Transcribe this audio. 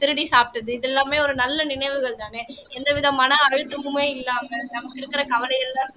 திருடி சாப்பிட்டது இது எல்லாமே ஒரு நல்ல நினைவுகள்தானே எந்த விதமான அழுத்தமுமே இல்லாமல் நமக்கு இருக்கிற கவலை எல்லாம்